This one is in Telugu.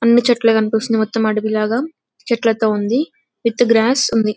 అన్ని చెట్లే కనిపిస్తున్నాయి అడవి లాగా చెట్లతో విత్ గ్రాస్ ఉంది --